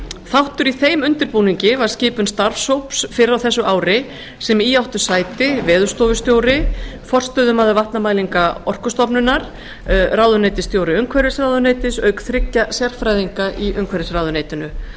þáttur í þeim undirbúningi var skipun starfshóps fyrr á þessu ári sem í áttu sæti veðurstofustjóri forstöðumaður vatnamælinga orkustofnunar ráðuneytisstjóri umhverfisráðuneytis auk þriggja sérfræðinga í umhverfisráðuneytinu